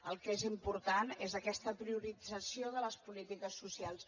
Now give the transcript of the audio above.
el que és important és aquesta priorització de les polítiques socials